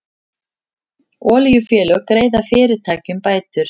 Olíufélög greiða fyrirtækjum bætur